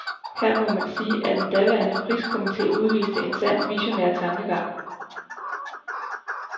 Her må man sige, at den daværende priskomite udviste en sand visionær tankegang.